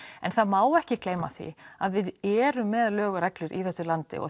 en það má ekki gleyma því að við erum með lög og reglur í þessu landi og